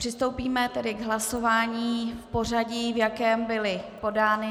Přistoupíme tedy k hlasování v pořadí, v jakém byly podány.